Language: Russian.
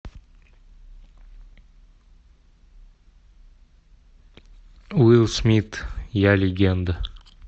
уилл смит я легенда